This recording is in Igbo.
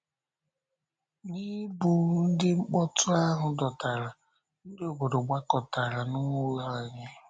N’ịbụ ndị mkpọtụ ahụ dọtara, ndị obodo gbakọtara n’ụlọ anyị.